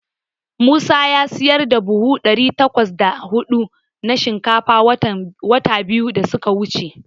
Musa ya siyar da buhu ɗari takwas da huɗu na shinkafa wata biyu da suka wuce.